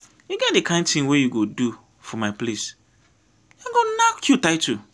e get di kain tin wey you go do for my place dem go nack you title.